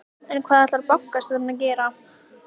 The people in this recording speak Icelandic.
En hvað ætlar bankastjórinn að gera?